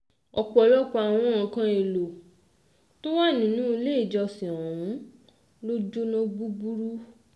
ọ̀pọ̀lọpọ̀ àwọn nǹkan èèlò tó wà nínú ilé ìjọsìn ọ̀hún ló jóná gbúgbúrú